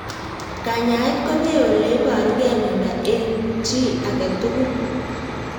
Kanyaet kopee ole iparukei miondo eng' chii ag'e tugul